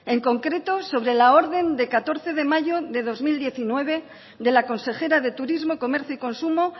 en concreto sobre la orden de catorce de mayo de dos mil diecinueve de la consejera de turismo comercio y consumo